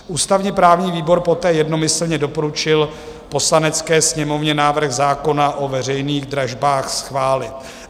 Ústavně-právní výbor poté jednomyslně doporučil Poslanecké sněmovně návrh zákona o veřejných dražbách schválit.